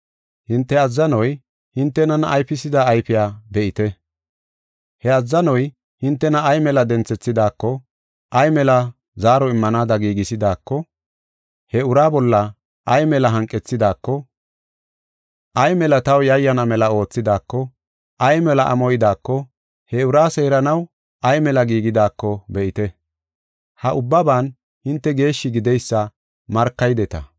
Hinte azzanoy hintenan ayfisida ayfiya be7ite. He azzanoy hintena ay mela denthethidako, ay mela zaaro immanaada giigisidaako, he ura bolla ay mela hanqethidaako, ay mela taw yayyana mela oothidaako, ay mela amoydako, he ura seeranaw ay mela giigidaako be7ite. Ha ubbaban hinte geeshshi gideysa markaydeta.